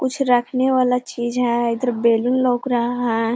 कुछ रखने वाला चीज है। इधर बैलून लोक रहा है।